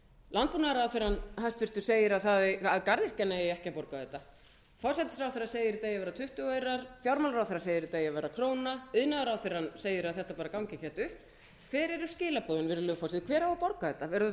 landbúnaðarráðherrann hæstvirtur segir að garðyrkjan eigi ekki að borga þetta forsætisráðherra segir að þetta eigi að vera tuttugu aurar fjármálaráðherra segir þetta eigi að vera króna iðnaðarráðherrann segir að þetta bara gangi ekkert upp hver eru skilaboðin virðulegur forseti hver á að borga þetta verða það þá